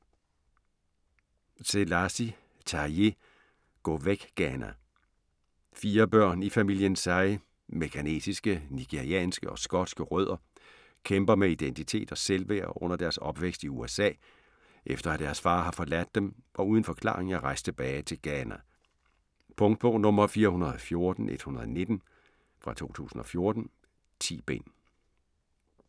Selasi, Taiye: Gå væk, Ghana Fire børn i familien Sai med ghanesiske, nigerianske og skotske rødder kæmper med identitet og selvværd under deres opvækst i USA, efter at deres far har forladt dem og uden forklaring er rejst tilbage til Ghana. Punktbog 414119 2014. 10 bind.